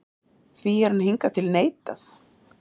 Því hefur hann hingað til neitað